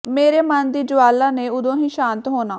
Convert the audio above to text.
ਮੇਰੇ ਮਨ ਦੀ ਜਵਾਲਾ ਨੇ ਉਦੋਂ ਹੀ ਸ਼ਾਂਤ ਹੋਣਾ